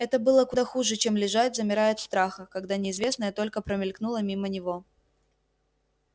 это было куда хуже чем лежать замирая от страха когда неизвестное только промелькнуло мимо него